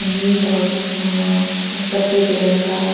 नील और एम म म सफेद रंग का--